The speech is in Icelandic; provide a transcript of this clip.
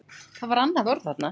Hann var risinn á fætur.